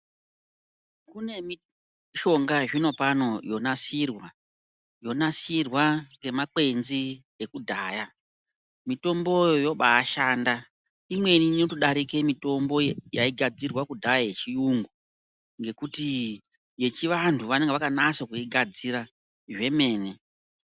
Kune mishonga ye zvino pano yo nasirwa yo nasirwa nge makwenzi ekudhaya mitomboyo yobai shanda imweni inoto darike mitombo yai gadzirwa kudhaya ye chiyungu ngekuti ye chi vantu vanenge vaka nasa kuigadzira zvemene.